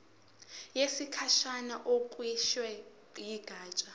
yesikhashana ekhishwe yigatsha